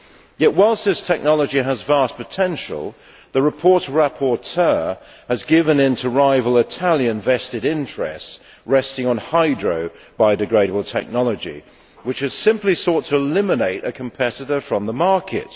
Yet, while this technology has vast potential, the report's rapporteur has given in to rival Italian vested interests resting on hydro biodegradable technology, which has simply sought to eliminate a competitor from the market.